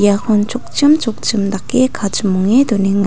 iakon chokchim chokchim dake kachimonge donenga.